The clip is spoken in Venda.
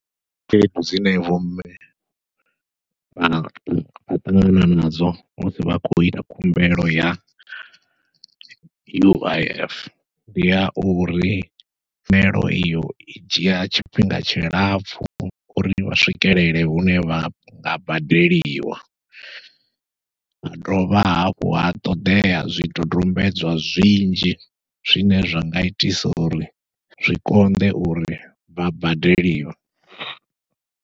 Khaedu dzine vho mme vha ṱangana nadzo musi vha khou ita khumbelo ya U_I_F, ndi ya uri tshumelo iyo i dzhia tshifhinga tshilapfhu uri vha swikelele hune vha vha badeliwa, ha dovha hafhu ha ṱoḓea zwidodombedzwa zwinzhi zwine zwa nga itisa uri zwi konḓe uri vha badeliwe.